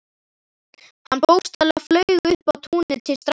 Hann bókstaflega flaug upp á túnið til strákanna.